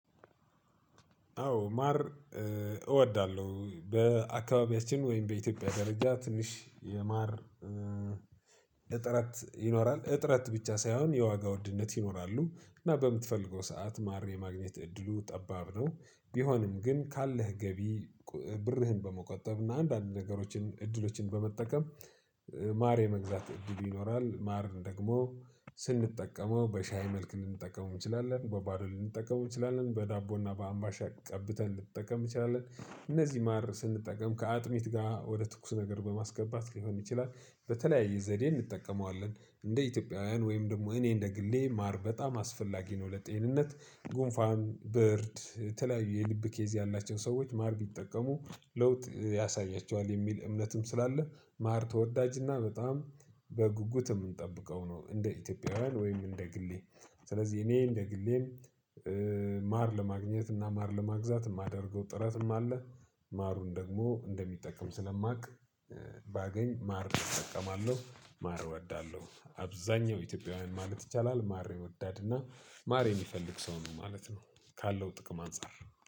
አዎ ማር እ እወዳለሁ በአካባቢያችን ወይም በኢትዮጵያ ደረጃ ትንሽ የማር እጥረት ይኖራል እጥረት ብቻ ሳይሆን የዋጋ ውድነት ይኖራሉ እና በምትፈልገው ሰዓት ማርን የማግኘት እድሉ ጠባብ ነው። ቢሆንም ግን ካለህ ገቢ ብርህን በመቆጠብ እና አንዳንድ ነገሮችን እድሎችን በመጠቀም እ ማር የመግዛት እድሉ ይኖርሃል። ማር ደግሞ ስንጠቀመው በሻይ መልክ ልንጠቀመው እንችላለን። በባዶ ልንጠቀመው እንችላለን። በዳቦና በአምባሻ ቀብተን ልንጠቀም እንችላለን። እነዚህ ማር ስንጠቀም ከአጥሚት ጋር ወደ ትኩስ ነገር በማስገባት ሊሆን ይችላል። በተለያየ ዘዴ እንጠቀመዋለን። እንደ ኢትዮጵያውያን ወይም ደግሞ እኔ እንደ ግሌ ማር በጣም አስፈላጊ ነው ለጤንነት። ጉንፋን ብርድ የተለያዩ የልብ ኬዝ ያላቸው ሰዎች ማር ቢጠቀሙ ለውጥ ያሳያቸዋል የሚል እምነትም ስላለ። ማር ተወዳጅና በጣም በጉጉት የምንጠብቀው ነው እንደ ኢትዮጵያውያን ወይም እንደ ግሌ። ስለዚህ እኔ እንደ ግሌም እ ማር ለማግኘት እና ማር ለመግዛት የማደርገው ጥረትም አለ። ማሩን ደግሞ እንደሚጠቅም ስለማውቅ እ ባገኝ ማር እጠቀማለሁ። ማር እወዳለሁ። አብዛኛው ኢትዮጵያውያን ማለት ይቻላል ማር ወዳድና ማር የሚፈልግ ሰው ነው ማለት ነው። ካለው ጥቅም አንፃር